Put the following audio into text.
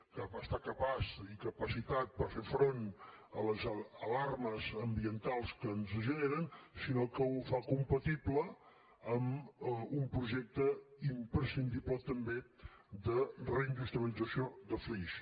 que està capaç i capacitat per fer front a les alarmes ambientals que ens generen sinó que ho fa compatible amb un projecte imprescindible també de reindustrialització de flix